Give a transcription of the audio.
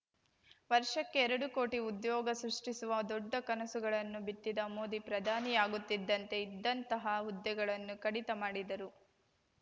ವರ್ಷಕ್ಕೆ ಎರಡು ಕೋಟಿ ಉದ್ಯೋಗ ಸೃಷ್ಟಿಸುವ ದೊಡ್ಡ ಕನಸುಗಳನ್ನು ಬಿತ್ತಿದ್ದ ಮೋದಿ ಪ್ರಧಾನಿಯಾಗುತ್ತಿದ್ದಂತೆ ಇದ್ದಂತಹ ಹುದ್ದೆಗಳನ್ನೂ ಕಡಿತ ಮಾಡಿದರು